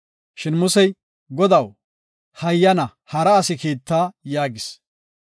Shin Musey, “Godaw, hayyana, hara asi kiitta” yaagis.